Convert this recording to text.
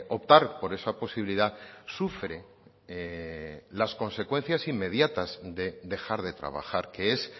optar por esa posibilidad sufre las consecuencias inmediatas de dejar de trabajar que es